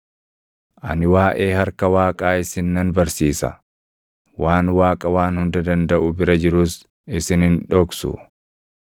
“Ani waaʼee harka Waaqaa isin nan barsiisa; waan Waaqa Waan Hunda Dandaʼu bira jirus isin hin dhoksu.